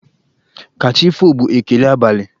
Ka chi foo' bụ ekele abali.